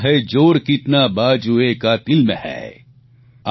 દેખના હૈ જોર કિતના બાજુએ કાતિલ મેં હૈં